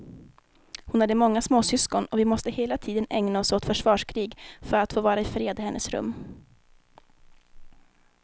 Hon hade många småsyskon och vi måste hela tiden ägna oss åt försvarskrig för att få vara i fred i hennes rum.